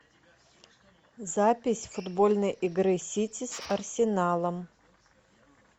запись футбольной игры сити с арсеналом